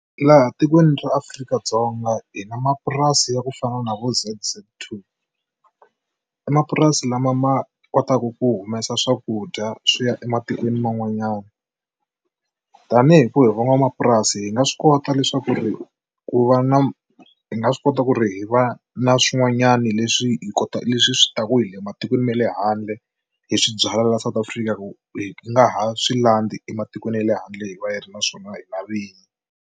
Laha tikweni ra Afrika-Dzonga hi na mapurasi ya ku fana na vo Z_Z two i mapurasi lama ma kotaku ku humesa swakudya swi ya ematikweni man'wanyana, tanihi ku hi van'wamapurasi hi nga swi kota leswaku ri ku va na hi nga swi kota ku ri hi va na swin'wanyana leswi hi kota leswi swi ta ku hi le matikweni ma le handle hi swi byala la South Africa ku hi nga ha swi landzi ematikweni ya le handle hi va hi ri naswona hina vinyi.